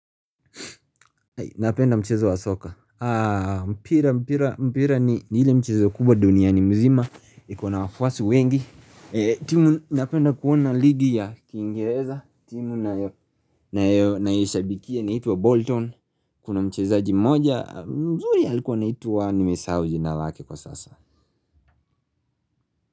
Napenda mchezo wa soka mpira mpira mpira ni ile mchezo kubwa duniani mzima iko na wafuasi wengi timu napenda kuona ligi ya kingereza timu nayoishabikia inaitwa Bolton Kuna mchezaji mmoja mzuri alikuwa anaitwa nimesahau jina lake kwa sasa.